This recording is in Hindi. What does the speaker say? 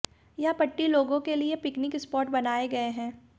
यह पट्टी लोगों के लिए पिकनिक स्पॉट बन गये हैं